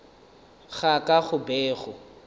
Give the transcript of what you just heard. ga ka go be go